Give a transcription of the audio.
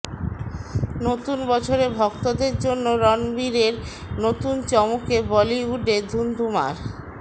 নতুন বছরে ভক্তদের জন্য রণবীরের নতুন চমকে বলিউডে ধুন্ধুমার